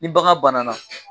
Ni bagan bana na